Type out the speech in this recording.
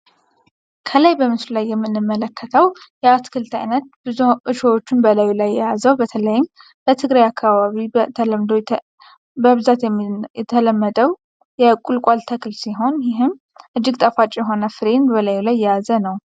ከላይ በምስሉ ላይ የምንመለከተው የአትክልት አይነት ብዙ እሾሆችን በላዩ ላይ የያዘው፤ በተለይም በትግራይ አካባቢ በተለምዶ በብዛት የተለመደው የቁልቋል ተክል ሲሆን ይህም እጅግ በጣም ጣፋጭ የሆነን ፍሬ በላዩ ላይ የያዘ ነው።